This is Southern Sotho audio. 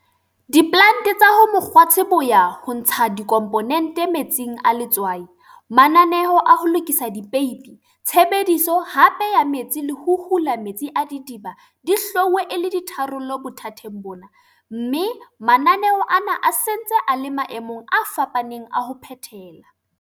Diplante tsa ho mokgwatshe bo ya ho ntsha dikhomponente metsing a letswai, mananeo a ho lokisa dipeipi, tshebediso hape ya metsi le ho hola metsi a didiba di hlwauwe e le ditharollo bothateng bona, mme mananeo ana a se ntse a le maemong a fapaneng a ho phethela.